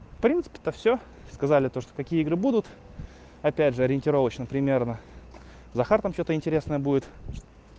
в принципе-то всё сказали то что какие игры будут опять же ориентировочно примерно захар там что-то интересное будет